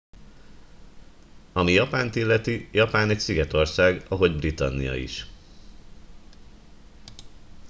ami japánt illeti japán egy szigetország ahogy britannia is